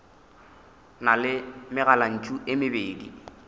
na le megalantšu e mebedi